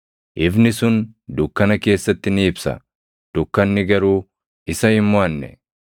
Ifni sun dukkana keessatti ni ibsa; dukkanni garuu isa hin moʼanne.